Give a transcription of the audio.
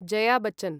Jaya Bachchan